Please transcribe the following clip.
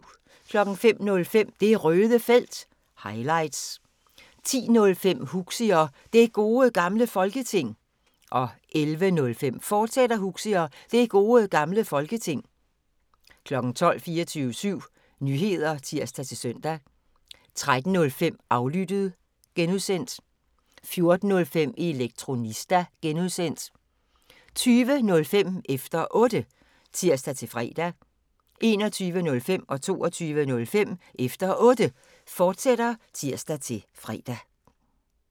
05:05: Det Røde Felt – highlights 10:05: Huxi og Det Gode Gamle Folketing 11:05: Huxi og Det Gode Gamle Folketing, fortsat 12:00: 24syv Nyheder (tir-søn) 13:05: Aflyttet (G) 14:05: Elektronista (G) 20:05: Efter Otte (tir-fre) 21:05: Efter Otte, fortsat (tir-fre) 22:05: Efter Otte, fortsat (tir-fre)